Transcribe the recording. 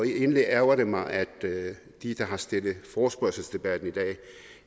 egentlig ærgrer det mig at de der har stillet forespørgselsdebatten i dag